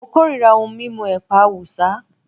Mo korira ohun mímu ẹ̀pà Awúsá